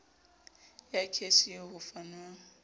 ya kheshe eo ho fanwang